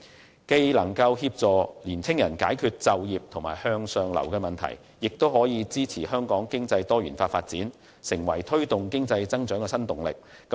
這不但有助解決年青人就業和向上流的問題，亦可支持香港經濟作多元化發展，成為推動經濟增長的新動力。